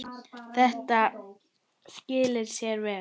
Þetta skilar sér vel.